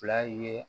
Fila ye